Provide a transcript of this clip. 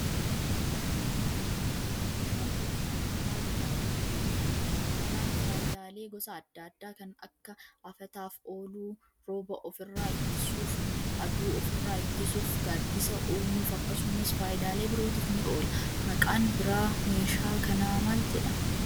Meeshaan kun, sharaa jedhamuun beekama. Sharaan faayidaalee gosa adda addaa kan akka : afataaf ooluu, rooba of irraa ittisuuf ,aduu of irraa ittisuuf ,gaaddisa uumuuf akkasumas faayidaalee birootif ni oola. Maqaan biraa meeshaa kanaa maal jedhama?